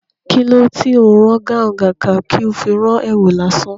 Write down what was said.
Kilo tí ó ń rán gáhùn, kàkà tó fi rán èwù lásán?